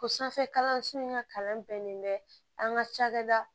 Ko sanfɛ kalanso in ka kalan bɛnnen bɛ an ka cakɛda